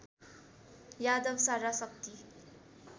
यादव सारा शक्ति